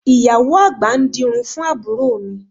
Ìyàwó àgbà ń dirun fún àbúrò mi